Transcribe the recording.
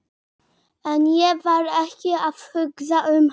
En ég var ekki að hugsa um hann.